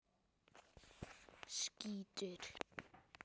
Bjarnhildur, hvaða sýningar eru í leikhúsinu á sunnudaginn?